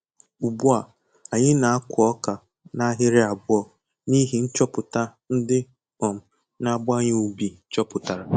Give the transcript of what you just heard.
Ugbu a, anyị na-akụ ọka n'ahịrị abụọ n'ihi nchọpụta ndị um na abawanye ubi chọpụtara